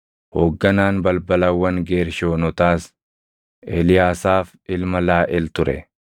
Hoogganaan balbalawwan Geershoonotaas Eliyaasaaf ilma Laaʼel ture.